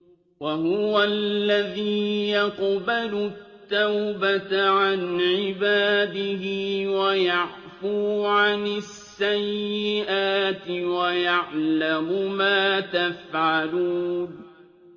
وَهُوَ الَّذِي يَقْبَلُ التَّوْبَةَ عَنْ عِبَادِهِ وَيَعْفُو عَنِ السَّيِّئَاتِ وَيَعْلَمُ مَا تَفْعَلُونَ